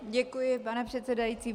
Děkuji, pane předsedající.